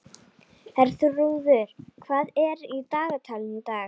Herþrúður, hvað er í dagatalinu í dag?